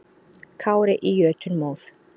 Kári í jötunmóð.